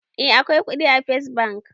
Eh, akwai kuɗi a first bank